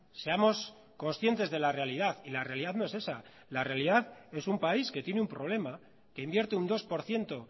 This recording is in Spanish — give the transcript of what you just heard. seamos conscientes de la realidad y la realidad no es esa la realidad es un país que tiene un problema que invierte un dos por ciento